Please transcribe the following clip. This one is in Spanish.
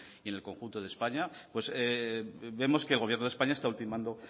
y en el conjunto de españa pues vemos que el gobierno de españa está ultimando